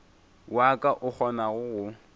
wa ka o kgonago go